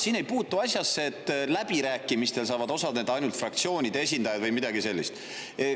Siin ei puutu asjasse see, et läbirääkimistel saavad osaleda ainult fraktsioonide esindajad, või midagi sellist.